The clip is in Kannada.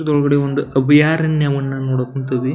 ಇದ್ರೊಳಗಡೆ ಒಂದು ಅಭಯಾರಣ್ಯವನ್ನ ನೋಡಾಕ್ ಕುಂತೆವಿ.